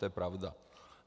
To je pravda.